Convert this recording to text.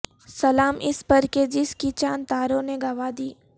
سلام اس پر کہ جس کی چاند تاروں نے گواہ دی